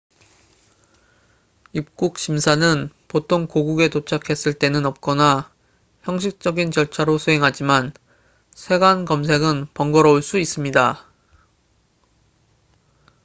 입국 심사는 보통 고국에 도착했을 때는 없거나 형식적인 절차로 수행하지만 세관 검색은 번거로울 수 있습니다